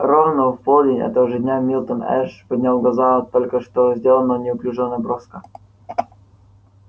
ровно в полдень этого же дня милтон эш поднял глаза от только что сделанного неуклюжего наброска